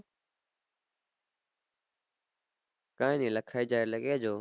કાંય ની લખાઈ જાય એટલે કહેજો